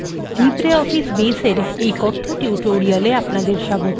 libreoffice base এর এই কথ্য tutorial আপনাদের স্বাগত